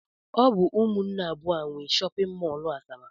Ọ bụ ụmụnne abụọ a nwe shọpịn mọl Asaba